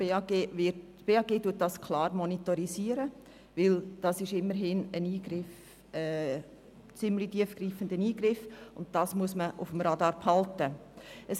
Das Bundesamt für Gesundheit (BAG) monitorisiert diese, denn bei der Abgabe solcher Medikamente handelt es sich um einen einschneidenden Eingriff, den man auf dem Radar behalten muss.